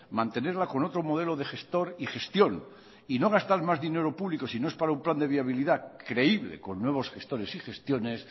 mantenerla con otro modelo de gestor y gestión y no gastar más dinero público si no es para un plan de viabilidad creíble con nuevos gestores y gestiones